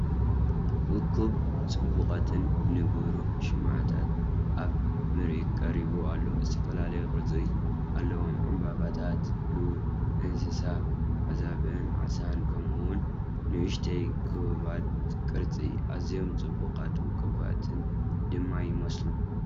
እኩብ ጽቡቓትን ንብሩህን ሽምዓታት ኣብ ምርኢት ቀሪቡ ኣሎ። ዝተፈላለየ ቅርጺ ኣለዎም፡ ዕምባባታት፡ ሉል፡ እንስሳታት (ኣዛብእን ዓሳን)፡ ከምኡ’ውን ንኣሽቱ ክቡባት ቅርጽታት። ኣዝዮም ጽቡቓትን ውቁባትን ድማ ይመስሉ፡፡